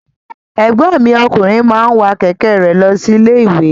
Ẹ̀gbọ́n mi ọkùnrin máa wa kẹ̀kẹ́ re lọ sí ilé-iwe.